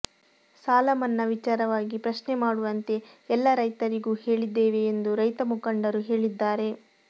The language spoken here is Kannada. ಸಾಲ ಮನ್ನಾ ವಿಚಾರವಾಗಿ ಪ್ರಶ್ನೆ ಮಾಡುವಂತೆ ಎಲ್ಲ ರೈತರಿಗೂ ಹೇಳಿದ್ದೇವೆ ಎಂದು ರೈತ ಮುಂಖಡರು ಹೇಳಿದ್ದಾರೆ